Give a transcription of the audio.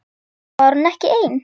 Var hún ekki ein?